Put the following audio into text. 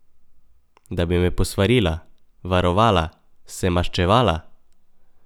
Da bi me posvarila, varovala, se maščevala?